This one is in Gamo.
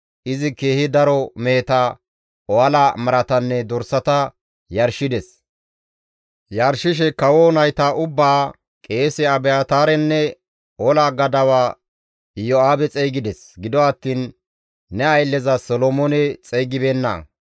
Izi keehi daro meheta, ohala maratanne dorsata yarshides; Yarshishe kawo nayta ubbaa, qeese Abiyaataarenne ola gadawa Iyo7aabe xeygides; gido attiin ne aylleza Solomoone xeygibeenna.